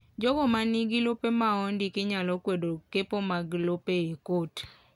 Jogo ma nigi lope ma ondiki nyalo kwedo kepo mag lope e kot .